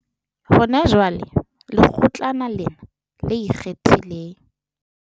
Hona jwale, Lekgotlana lena le Ikgethileng